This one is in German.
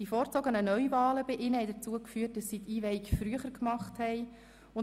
Die vorgezogenen Neuwahlen bei ihnen führten dazu, dass die Einweihung früher stattfand.